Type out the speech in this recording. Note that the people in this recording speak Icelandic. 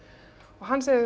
hann segir við